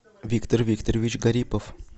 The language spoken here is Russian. виктор викторович гарипов